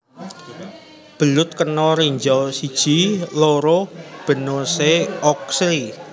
Belut Kena Ranjau I Il Banonesse Orczy